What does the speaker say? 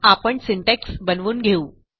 आपणsyntax बनवून घेऊ